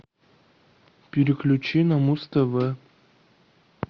переключи на муз тв